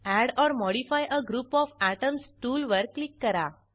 add or modify a group of atoms tool वर click करा